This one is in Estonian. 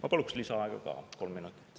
Ma paluks lisaaega ka kolm minutit.